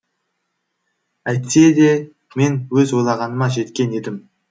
әйтсе де мен өз ойлағаныма жеткен едім